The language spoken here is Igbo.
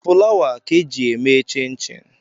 Fụlawa ka ị ga e ji eme chinchin